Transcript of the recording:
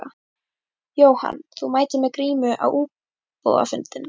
Jóhann: Þú mætir með grímu á íbúafundinn?